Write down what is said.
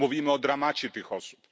Mówimy o dramacie tych osób.